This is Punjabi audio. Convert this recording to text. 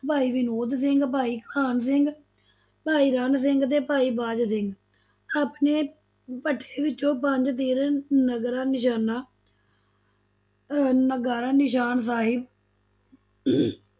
ਭਾਈ ਵਿਨੋਦ ਸਿੰਘ, ਭਾਈ ਕਾਨ ਸਿੰਘ, ਭਾਈ ਰਣ ਸਿੰਘ ਤੇ ਭਾਈ ਬਾਜ ਸਿੰਘ, ਆਪਣੇ ਭੱਠੇ ਵਿੱਚੋਂ ਪੰਜ ਤੀਰ, ਨਗਰਾ, ਨਿਸ਼ਾਨਾ ਅਹ ਨਗਾਰਾ, ਨਿਸ਼ਾਨ, ਸਾਹਿਬ